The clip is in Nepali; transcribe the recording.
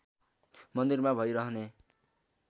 मन्दिरमा भइ रहने